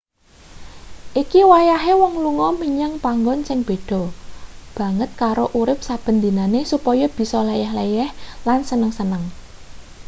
iki wayahe wong lunga menyang panggon sing beda banget karo urip saben dinane supaya bisa leyeh-leyeh lan seneng-seneng